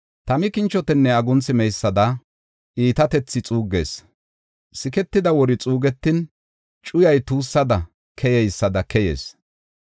Tami kinchotenne agunthi meysada iitatethi xuuggees; siketida wori xuugetin, cuyay tuussada keyeysada keyees.